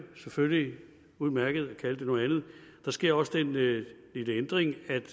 selvfølgelig udmærket at kalde det noget andet der sker også den lille ændring at